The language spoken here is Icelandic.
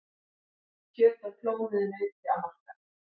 Kjöt af klónuðu nauti á markað